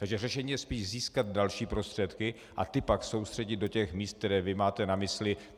Takže řešením je spíš získat další prostředky a ty pak soustředit do těch míst, která vy máte na mysli.